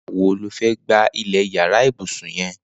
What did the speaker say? Nigbà wó ló fẹ̀ gbá ilẹ iyàrá ibùsùn yèn